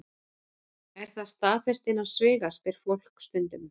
Er það staðfest innan sviga? spyr fólk stundum.